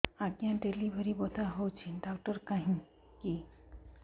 ଆଜ୍ଞା ଡେଲିଭରି ବଥା ହଉଚି ଡାକ୍ତର କାହିଁ କି